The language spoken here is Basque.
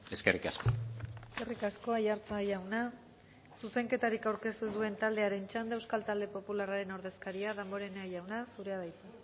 eskerrik asko eskerrik asko aiartza jauna zuzenketarik aurkeztu duen taldearen txanda euskal talde popularraren ordezkaria damborenea jauna zurea da hitza